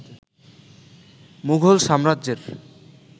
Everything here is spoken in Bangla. মুঘল সাম্রাজ্যের